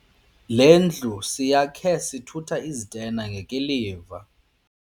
Le ndlu siyakhe sithutha izitena ngekiliva.